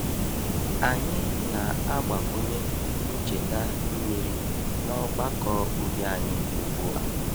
Anyị na-agbakwunye ncheta mmiri n’ọgbakọ ubi anyị ugbu a.